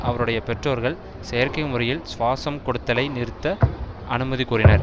அவருடைய பெற்றோர்கள் செயற்கை முறையில் சுவாசம் கொடுத்தலை நிறுத்த அனுமதி கோரினர்